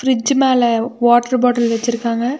Fridge மேல water bottle வெச்சிருக்காங்க.